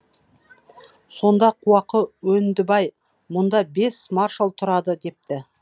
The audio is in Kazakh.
сонда қуақы өндібай мұнда бес маршал тұрады депті